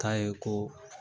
k'a ye ko